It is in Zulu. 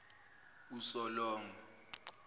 usolongo